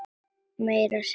Meira að segja gagn.